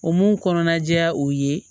O mun kɔnɔna ja o ye